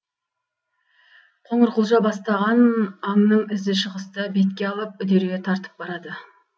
қоңыр құлжа бастаған аңның ізі шығысты бетке алып үдере тартып барады